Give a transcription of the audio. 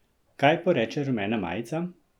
Kaj poreče rumena majica?